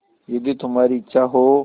यदि तुम्हारी इच्छा हो